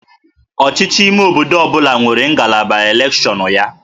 Ọchịchị ime obodo ọ bụla nwere ngalaba elekshọnụ ya